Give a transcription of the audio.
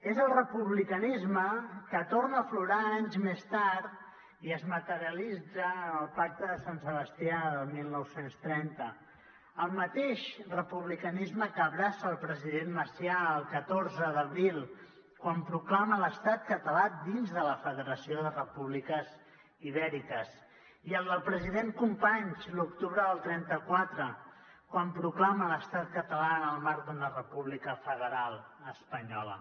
és el republicanisme que torna a aflorar anys més tard i es materialitza en el pacte de sant sebastià del dinou trenta el mateix republicanisme que abraça el president macià el catorze d’abril quan proclama l’estat català dins de la federació de repúbliques ibèriques i el del president companys l’octubre del trenta quatre quan proclama l’estat català en el marc d’una república federal espanyola